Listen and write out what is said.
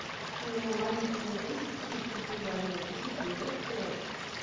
ну ладно хоть на десять тысяч купили они на тысячу и то вперёд